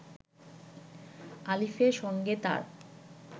আলিফের সঙ্গে তার